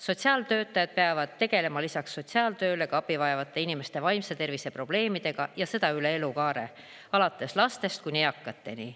Sotsiaaltöötajad peavad tegelema lisaks sotsiaaltööle ka abi vajavate inimeste vaimse tervise probleemidega, ja seda kogu elukaare jooksul, alates lastest kuni eakateni.